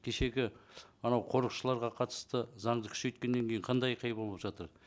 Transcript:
кешегі анау қорықшыларға қатысты заңды күшейткеннен кейін қандай айқай болып жатыр